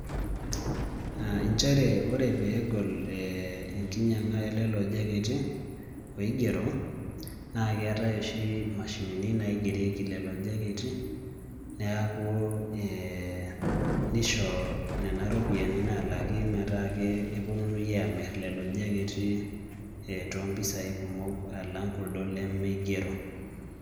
Nchere ore pee egol enkinyiang'a elelo jacketi oigero naa keetai oshi imashinini naigerieki lelo jacketi neeku ee nisho nena ropiyiani naalaki metaa keponunui aamirr lelo jacketi toompisaai kumok aalng' kuldo lemigero.